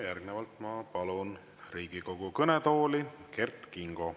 Järgnevalt ma palun Riigikogu kõnetooli Kert Kingo.